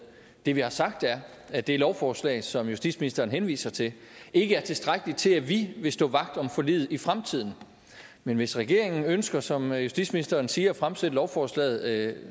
det vi har sagt er at det lovforslag som justitsministeren henviser til ikke er tilstrækkeligt til at vi vil stå vagt om forliget i fremtiden men hvis regeringen ønsker som justitsministeren siger at fremsætte lovforslaget